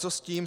Co s tím?